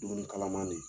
Dumuni kalaman de